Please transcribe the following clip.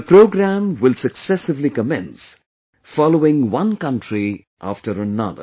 The program will successively commence, following one country after another